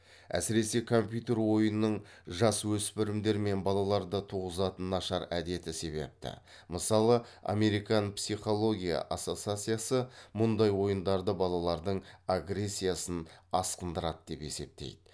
әсіресе компьютер ойынының жасөспірімдер мен балаларда туғызатын нашар әдеті себепті мысалы американ психология ассоциациясы мұндай ойындарды балалардың агрессиясын асқындырады деп есептейді